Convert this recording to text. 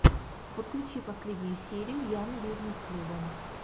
подключи последнюю серию ян бизнесс клуба